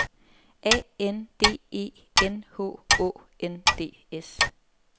A N D E N H Å N D S